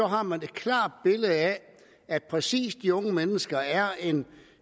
har man et klart billede af at præcis de unge mennesker er en